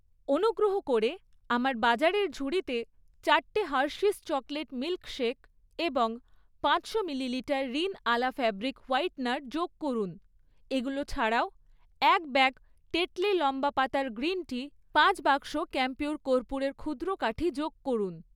অনুগ্রহ করে আমার বাজারের ঝুড়িতে চারটে হার্শিস চকোলেট মিল্ক শেক এবং পাঁচশো millilitre Rin Ala fabric whitener যোগ করুন। এগুলো ছাড়াও, এক ব্যাগ টেটলি লম্বা পাতার গ্রিন টি, পাঁচ বাক্স ক্যাম্পিউর কর্পূরের ক্ষুদ্র কাঠি যোগ করুন।